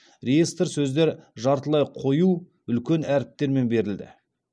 реестр сөздер жартылай қою үлкен әріптермен берілді